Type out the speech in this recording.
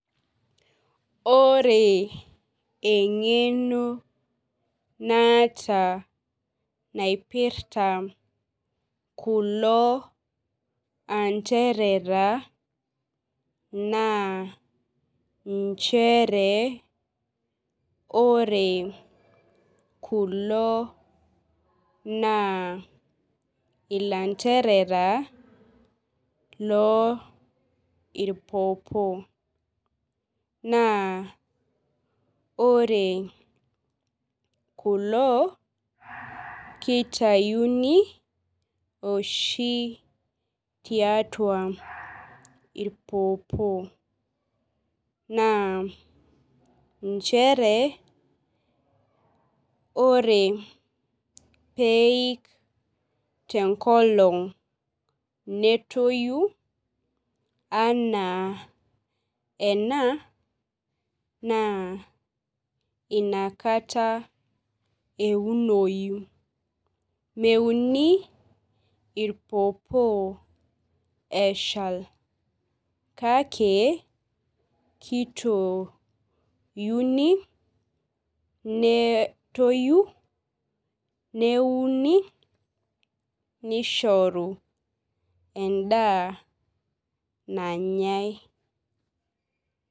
Ore engeno naata nairpirta kulo anderera na nchere ore kulo na ilanderera lorpopo naa ore kulo kitayuni oshi tiatua irpopo na nchere ore peik tenkolong netoyu ana ena na inakata eunoyu meuni irpopo eshal kake kitouni netoyu neuni nishoru endaa nannyai